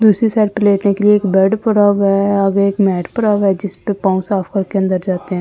दूसरी साइड पे लेटने के लिए एक बेड पड़ा हुआ है आगे एक मैट पड़ा हुआ है जिस पर पांव साफ करके अंदर जाते हैं ।